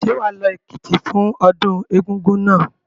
Ṣé wà á lọ Èkìtì fún ọdún Egúngún náà?